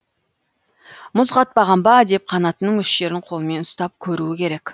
мұз қатпаған ба деп қанатының үш жерін қолмен ұстап көруі керек